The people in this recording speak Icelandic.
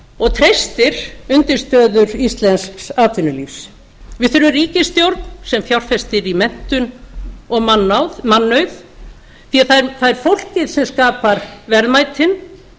og treystir undirstöður íslensks atvinnulífs við þurfum ríkisstjórn sem fjárfestir í menntun og mannauð því það er fólkið sem skapar verðmætin